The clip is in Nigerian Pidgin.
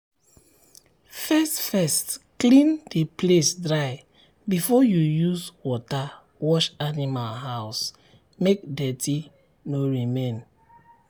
first first clean the place dry before you use water wash animal house make dirty no remain.